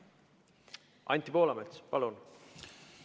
Anti Poolamets, palun!